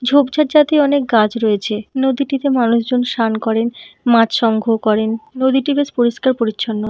ঝোঁপঝাড় জাতীয় অনেক গাছ রয়েছে। নদীটিতে মানুষ জন স্নান করেন মাছ সংগ্রহ করেন। নদীটি বেশ পরিষ্কার পরিছন্ন।